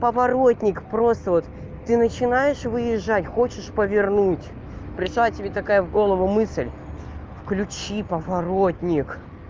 поворотник просто вот ты начинаешь выезжать хочешь повернуть пришла тебе такая в голову мысль включи поворотник